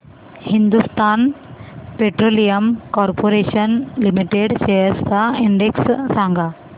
Hindustan petroleum corporation limited shares चा index सांगा